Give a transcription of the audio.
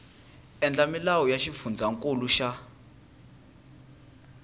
endla milawu ya xifundzankulu xa